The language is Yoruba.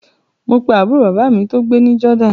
Mo pe àbúrò bàbá mi tó gbé ní Jordan